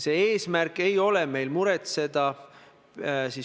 Sellest küll seda välja lugeda ei saa.